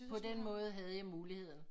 På den måe havde jeg muligheden